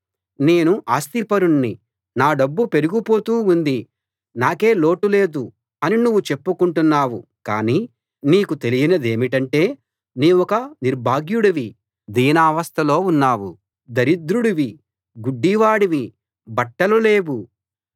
నేను ఆస్తిపరుణ్ణి నా డబ్బు పెరిగిపోతూ ఉంది నాకే లోటూ లేదు అని నువ్వు చెప్పుకుంటున్నావు కానీ నీకు తెలియనిదేమిటంటే నీవొక నిర్భాగ్యుడివి దీనావస్థలో ఉన్నావు దరిద్రుడివి గుడ్డివాడివి బట్టలు లేవు